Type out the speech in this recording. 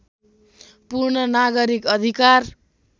पूर्ण नागरिक अधिकार